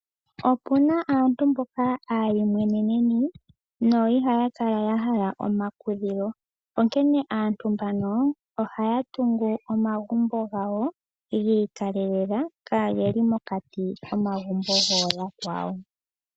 Opuna aantu mboka aayimweneneni no ihaya kala yahala omakudhilo, onkene aantu mbano ohaya tungu omagumbo gawo giikalelela kaageli mokati komagumbo gooyakwawo.